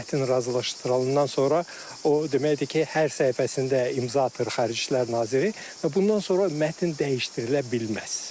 Mətn razılaşdırılandan sonra o deməkdir ki, hər səhifəsində imza atır Xarici İşlər naziri və bundan sonra mətn dəyişdirilə bilməz.